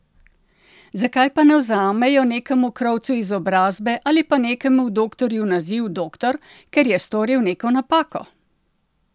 Zakaj pa ne vzamejo nekemu krovcu izobrazbe ali pa nekemu doktorju naziv doktor, ker je storil neko napako?